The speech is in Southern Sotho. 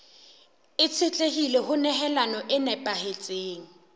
itshetlehile ho nehelano e nepahetseng